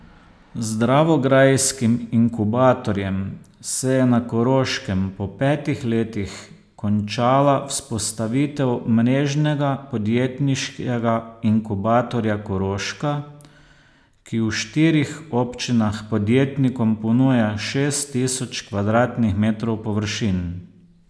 Z dravograjskim inkubatorjem se je na Koroškem po petih letih končala vzpostavitev Mrežnega podjetniškega inkubatorja Koroška, ki v štirih občinah podjetnikom ponuja šest tisoč kvadratnih metrov površin.